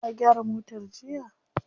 Ka gyara motar jiya?